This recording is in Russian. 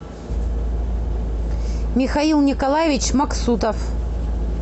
михаил николаевич максутов